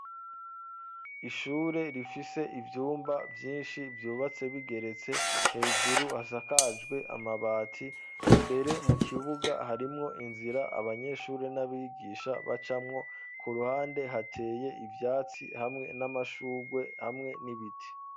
Ishure rifise ibyumba vyinshi vyubatse bigeretse hejuru hasakajwe amabati imbere mu kibuga harimwo inzira abanyeshure n'abigisha bacamwo ku ruhande hateye ibyatsi hamwe n'amashurwe hamwe n'ibiti.